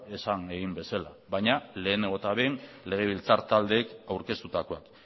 esan egin bezala baina lehenengo eta behin legebiltzar taldeek aurkeztutakoak